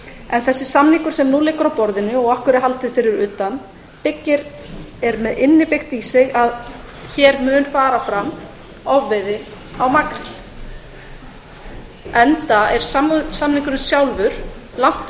en í þann samning sem nú liggur á borðinu sem okkur er haldið utan við er innbyggt að um verður að ræða ofveiði á makríl enda er samningurinn sjálfur langt